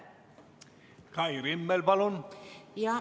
Kai Rimmel, palun!